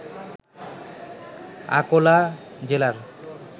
আকোলা জেলার